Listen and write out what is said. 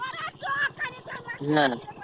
না না